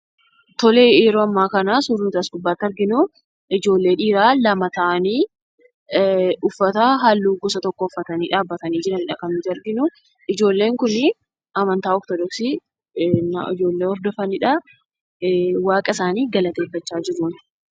Yeroo ammaa kana suurri nuti as gubbaatti arginu ijoollee dhiiraa lama ta'anii uffata halluu gosa tokko uffatanii dhaabbatanii jiranidha kan nuti arginuu. Ijoolleen kun amantaa ortodoksii ijoollee hordofaniidha. Waaqa isaanii galateeffachaa jiru.